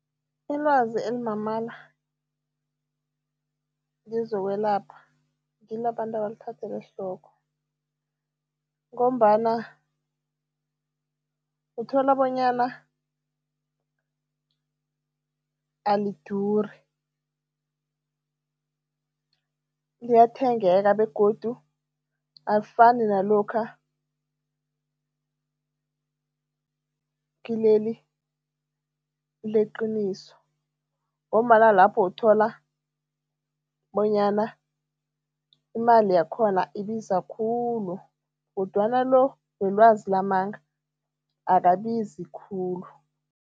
Ilwazi elimamala kezokwelapha, ngilo abantu abalithathela ehloko ngombana uthola bonyana aliduri, liyathengeka begodu alifani nalokha kileli leqiniso ngombana lapho uthola bonyana imali yakhona ibiza khulu kodwana lo welwazi lamanga, akabizi khulu.